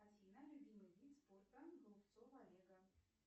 афина любимый вид спорта голубцова олега